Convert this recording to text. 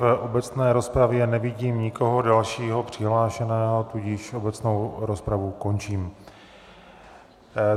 V obecné rozpravě nevidím nikoho dalšího přihlášeného, tudíž obecnou rozpravu končím.